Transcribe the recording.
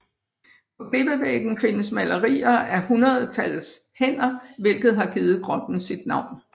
På klippevæggen findes malerier af hundredetals hænder hvilket har givet grotten sit navn